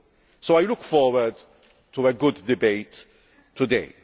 So I look forward to a good debate today.